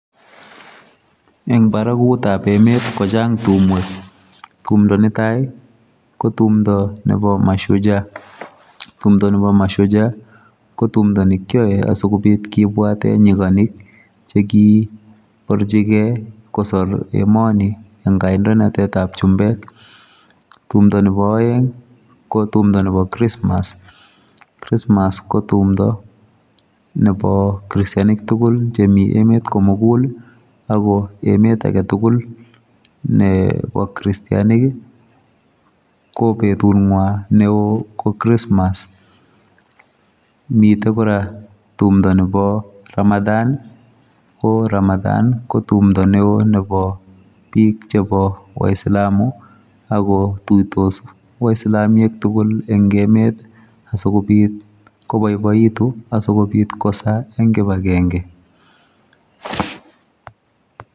Eng baraguut ab emeet ii kochaang tumweek, tumndo netai ko tumndo nebo mashujaa, tumdaa nebo mashujaa ko tumdo nekyae asikobiit kibwateen nyiganik chekibarjigei kosoor emani en kandoinatet ab chumbeek, tumdo nebo aeng ii ko tumdo nebo krismas ko tumdaa nebo kritianik tugul en emeet kimugul ago emet age tugul kristianik ii ko betuut nywaany ne wooh ko kristmas miten kora tumdo nebo [Ramadan] ii ko [Ramadan] ii ko tumdo ne oo nebo biik che bo waislamu ako tuitos waislamiek tugul en emet asikobiit kobaibaituun asikobiit kosaa eng kibagengei.